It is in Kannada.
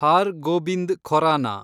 ಹಾರ್ ಗೋಬಿಂದ್ ಖೊರಾನ